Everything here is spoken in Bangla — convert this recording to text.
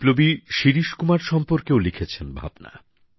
বিপ্লবী শিরীষ কুমার সম্পর্কে লিখেছেন ভাবনা